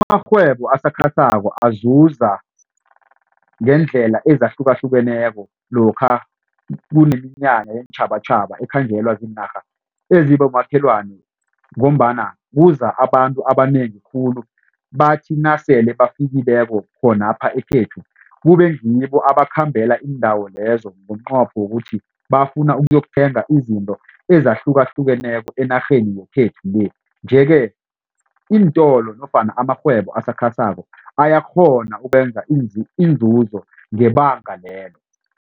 Amarhwebo asakhasako azuza ngeendlela ezahlukahlukeneko lokha kuneminyanya yeentjhabatjhaba ekhanjelwa ziinarha ezibomakhelwana ngombana kuza abantu abanengi khulu. Bathi nasele bafikileko khonapha ekhethu kube ngibo abakhambela iindawo lezo ngomnqopho wokuthi bafuna ukuyokuthenga izinto ezahlukahlukeneko enarheni yekhethu le. Nje ke iintolo nofana amarhwebo asakhasako ayakghona ukwenza inzuzo ngebanga lelo.